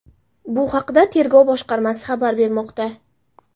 Bu haqda Tergov boshqarmasi xabar bermoqda .